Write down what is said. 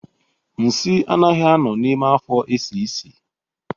Nsị anaghị a nọ n'ime afo esie nsị